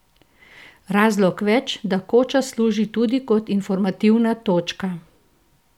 Razlog več, da koča služi tudi kot informativna točka.